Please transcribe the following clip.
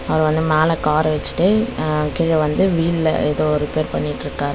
அவர் வந்து மேல கார வெச்சுட்டு அ கீழ வந்து வீல்ல ஏதோ ரிப்பேர் பண்ணிட்ருக்காரு.